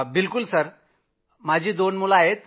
बिलकुल साहेब। माझी दोन मुलं आहेत